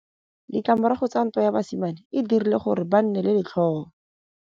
Ditlamorago tsa ntwa ya basimane e dirile gore ba nne le letlhôô.